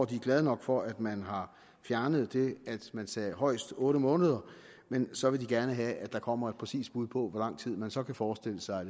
de er glade nok for at man har fjernet det at man sagde højst otte måneder men så vil de gerne have at der kommer et præcist bud på hvor lang man så kan forestille sig